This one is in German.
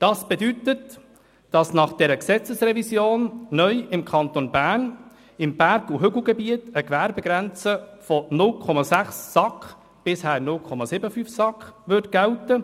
Das bedeutet, dass nach dieser Gesetzesrevision im Kanton Bern neu im Berg- und Hügelgebiet eine Gewerbegrenze von 0,6 SAK – bisher 0,75 SAK – gälte.